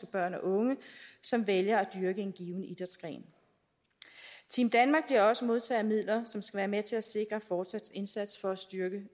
børn og unge som vælger at dyrke en given idrætsgren team danmark bliver også modtager af midler som skal være med til at sikre en fortsat indsats for at styrke